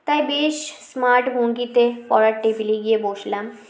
তাই বেশ smart ভঙ্গিতে পড়ার table -এ গিয়ে বসলাম